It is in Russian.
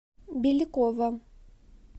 беликова